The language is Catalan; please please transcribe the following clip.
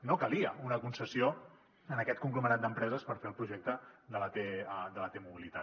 no calia una concessió a aquest conglomerat d’empreses per fer el projecte de la t mobilitat